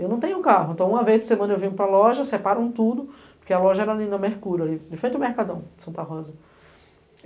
Eu não tenho carro, então uma vez por semana eu venho para loja, separam tudo, porque a loja era ali na Mercurio, ali de frente ao Mercadão, em Santa Rosa.